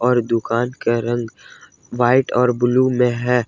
और दुकान का रंग व्हाइट और ब्लू में है।